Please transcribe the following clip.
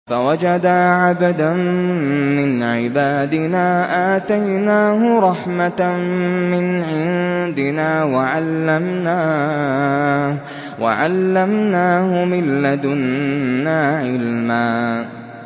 فَوَجَدَا عَبْدًا مِّنْ عِبَادِنَا آتَيْنَاهُ رَحْمَةً مِّنْ عِندِنَا وَعَلَّمْنَاهُ مِن لَّدُنَّا عِلْمًا